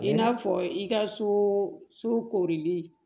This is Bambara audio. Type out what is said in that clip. I n'a fɔ i ka so koorili